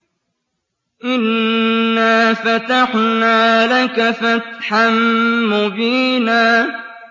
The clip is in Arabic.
إِنَّا فَتَحْنَا لَكَ فَتْحًا مُّبِينًا